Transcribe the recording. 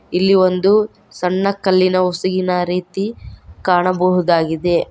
ಇಲ್ಲಿ ಒಂದು ಸಣ್ಣ ಕಲ್ಲಿನ ಹೊಸುಗಿನ ರೀತಿ ಕಾಣಬಹುದಾಗಿದೆ.